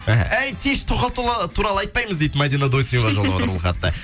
әй тоқал туралы айтпаймыз дейді мадина досева жолдап отыр бұл хатты